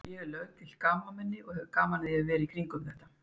Ég er löggilt gamalmenni og hef gaman að því að vera í kringum þetta.